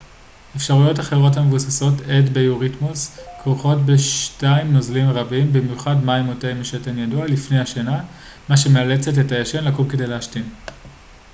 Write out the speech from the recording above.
אפשרויות אחרות המבוססות עת ביוריתמוס כרוכות בשתיית נוזלים רבים במיוחד מים או תה משתן ידוע לפני השינה מה שמאלצת את הישן לקום כדי להשתין